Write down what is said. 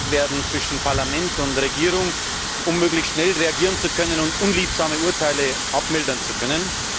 werden, zwischen Parlament und Regierung verändert wird, um möglichst schnell reagieren zu können und unliebsame Urteile abmildern zu können.